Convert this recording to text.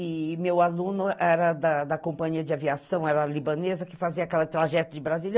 E meu aluno era da companhia de aviação, era libanesa, que fazia aquela trajeto de Brasília.